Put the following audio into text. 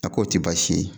A k'o tɛ baasi ye